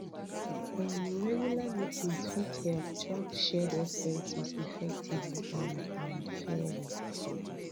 um regular meetings fit help track shared expenses effectively and and fairly